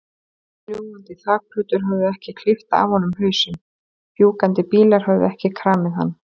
Fljúgandi þakplötur höfðu ekki klippt af honum hausinn, fjúkandi bílar höfðu ekki kramið hann.